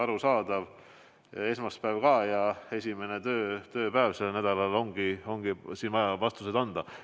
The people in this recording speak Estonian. Arusaadav – esmaspäev ja esimene tööpäev sellel nädalal, siin ongi vaja vastuseid anda.